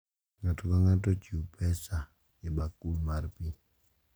Ng’ato ka ng’ato chiwo pesa e bakul mar pi,